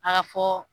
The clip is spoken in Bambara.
A ka fɔ